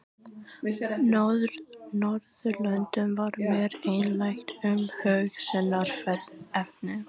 Norðurlöndum var mér einlægt umhugsunarefni.